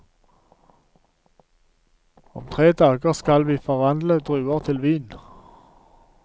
Om tre dager skal vi forvandle druer til vin.